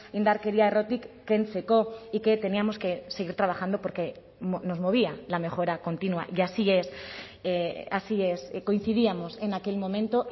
indarkeria errotik kentzeko y que teníamos que seguir trabajando porque nos movía la mejora continua y así es así es coincidíamos en aquel momento